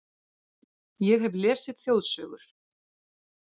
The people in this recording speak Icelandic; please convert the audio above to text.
Ég hef lesið þjóðsögur